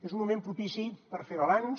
és un moment propici per fer balanç